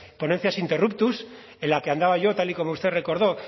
ponencias interruptus en la que andaba yo tal y como usted recordó